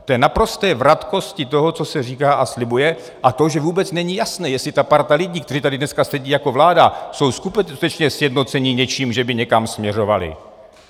V té naprosté vratkosti toho, co se říká a slibuje, a to, že vůbec není jasné, jestli ta parta lidí, kteří tady dneska sedí jako vláda, jsou skutečně sjednocení něčím, že by někam směřovali.